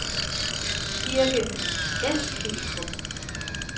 Kirke Eskilstrup